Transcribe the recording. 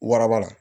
Waraba la